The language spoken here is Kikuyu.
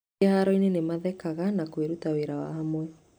Kĩhaaro-inĩ, nĩ mathekaga na kwĩruta wĩra wa hamwe.